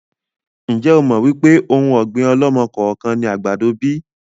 Ń jẹ́ ó mọ wípé òun ọ̀gbín ọ̀lọ́mọ-kọọ-kan ni àgbàdo bíi?